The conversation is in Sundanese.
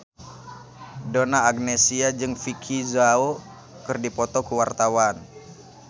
Donna Agnesia jeung Vicki Zao keur dipoto ku wartawan